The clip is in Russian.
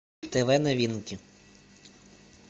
тв новинки